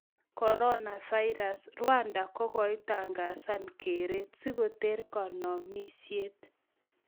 corona virus:rwanda kogoitangazan �keret� sigoter kanomisiet